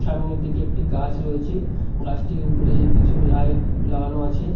সামনের দিকে একটি গাছ রয়েছে গাছটির উপরে কিছু লাইট লাগানো আছে।